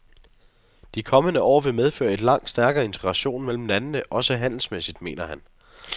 De kommende år vil medføre en langt stærkere integration mellem landene, også handelsmæssigt, mener han.